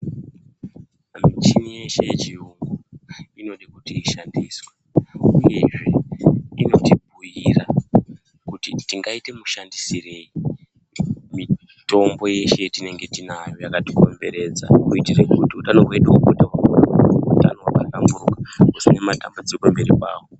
Michini yeshe yechiyungu inoda kuti ishabdiswe, uyezve inotibhuira kuti tingaita mushandireyi mitombo yeshe yatinenge tinayo yakatikomberedza toyiita mashandisirei kuitira kuti utano hwedu hwahlamburuka tiziye matanbudziko mberi kwawo.